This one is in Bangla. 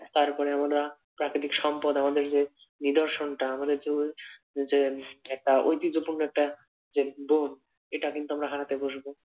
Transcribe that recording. তারপরে আমরা প্রাকৃতিক সম্পদ আমাদের যে নিদর্শনটা আমাদের যেমন যে একটা ঐতিহ্যপূর্ন একটা যে বন এটা কিন্তু আমরা হারাতে বসব।